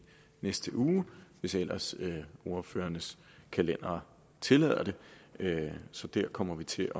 næste uge hvis ellers ordførernes kalendre tillader det så der kommer vi til